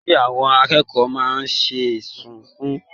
Kilode tí àwọn ikòkò máa n sunkún?